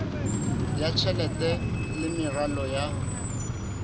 ya tjhelete le meralo ya